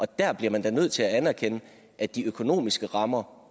der bliver man da nødt til at anerkende at de økonomiske rammer